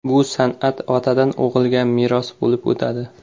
Bu san’at otadan o‘g‘ilga meros bo‘lib o‘tadi.